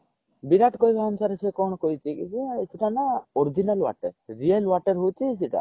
ବିରାଟ କହିବା ଅନୁସାରେ ସେ କଣ କହିଛି କି ଯେ ସେଇଟା ନା original water real water ହଉଛି ସେଇଟା